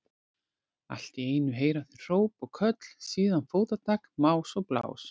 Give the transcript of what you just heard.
Allt í einu heyra þau hróp og köll, síðan fótatak, más og blás.